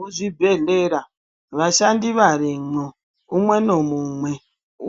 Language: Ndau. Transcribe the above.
Muzvibhedhlera vashandi varimwo umwe namumwe